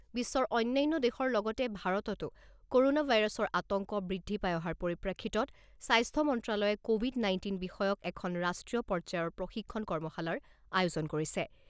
বিশ্বৰ অন্যান্য দেশৰ লগতে ভাৰততো ক'ৰনা ভাইৰাছৰ আতংক বৃদ্ধি পাই অহাৰ পৰিপ্ৰেক্ষিতত স্বাস্থ্য মন্ত্ৰ্যালয়ে ক’ভিড নাইণ্টিন বিষয়ক এখন ৰাষ্ট্ৰীয় পৰ্যায়ৰ প্ৰশিক্ষণ কৰ্মশালাৰ আয়োজন কৰিছে।